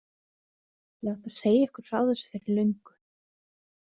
Ég átti að segja ykkur frá þessu fyrir löngu.